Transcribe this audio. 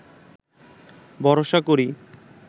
ভরসা করি